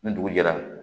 Ni dugu jɛra